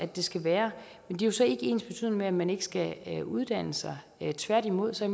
det skal være men det er så ikke ensbetydende med at man ikke skal uddanne sig tværtimod så